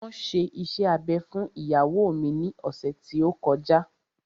Wọn ṣe iṣẹ́ abẹ fún ìyàwó mi ní ọ̀sẹ̀ tí ó kọjá